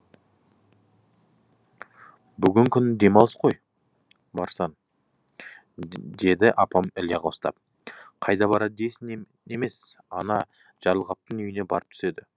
бүгін күн демалыс қой барсаң деді апам іле қостап қайда барады дейсің емес ана жарылғаптың үйіне барып түседі